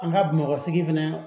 An ka bamakɔ sigi fɛnɛ